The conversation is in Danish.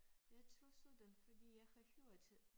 Jeg tror sådan fordi jeg har hørt